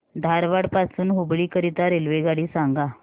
धारवाड पासून हुबळी करीता रेल्वेगाडी सांगा